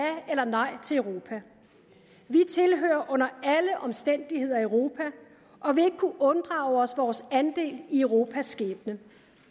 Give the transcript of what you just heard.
eller nej til europa vi tilhører under alle omstændigheder europa og vil ikke kunne unddrage os vores andel i europas skæbne